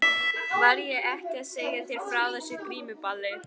Var ég ekki að segja þér frá þessu grímuballi?